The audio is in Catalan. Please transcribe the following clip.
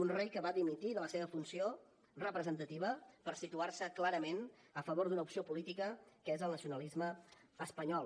un rei que va dimitir de la seva funció representativa per situar se clarament a favor d’una opció política que és el nacionalisme espanyol